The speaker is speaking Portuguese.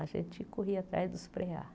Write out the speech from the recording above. A gente corria atrás dos preá.